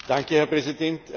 Herr Präsident!